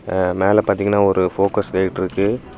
மேல பாதிங்னா ஒரு ஃபோகஸ் லைட் இருக்கு.